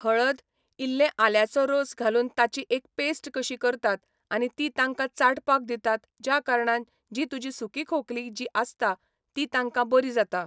हळद, इल्लें आल्याचो रोस घालून ताची एक पॅस्ट कशी करतात आनी ती तांकां चाटपाक दितात ज्या कारणान जी तुजी सुकी खोंकली जी आसता ती तांकां बरी जाता.